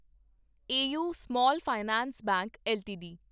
AU small finance bank LTD